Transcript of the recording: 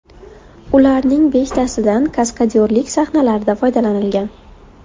Ularning beshtasidan kaskadyorlik sahnalarida foydalanilgan.